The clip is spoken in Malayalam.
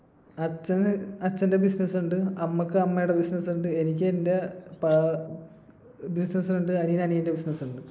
അച്ഛന് അച്ഛന്റെ business ഉണ്ട്. അമ്മക്ക് അമ്മേടെ business ഉണ്ട് എനിക്ക് എന്റെ business ഉണ്ട്. അനിയന് അനിയന്റെ business ഉണ്ട്.